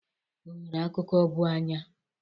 O nwere akụkụ bụ anya.